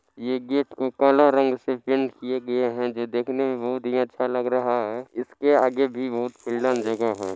ये गेट को काला रंग से पेंट किया गया है जो देखने मे बहुत ही अच्छा लग रहा है इसके आगे भी बहुत फैलल जगह है।